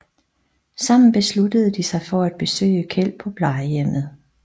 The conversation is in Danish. Sammen beslutter de sig for at besøge Kjeld på plejehjemmet